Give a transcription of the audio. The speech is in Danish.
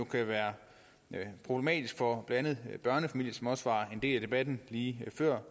kan være problematiske for blandt andet børnefamilier som også var en del af debatten lige før